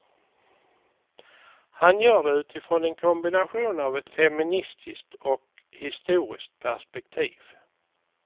Han gör det utifrån en kombination av ett feministiskt och historiskt perspektiv.